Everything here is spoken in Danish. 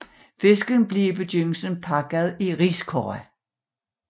Fiskene blev i begyndelsen pakket i riskurve